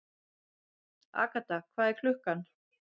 Agatha, hvað er klukkan?